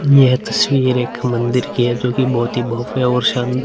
यह तस्वीर एक मंदिर की है जोकि बहोत ही भव्य और शांद् --